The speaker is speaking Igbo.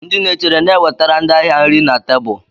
Ndị na-echere na-ewetara ndị ahịa nri na tebụl.